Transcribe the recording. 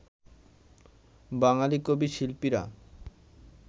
বাঙালি কবি-শিল্পীরা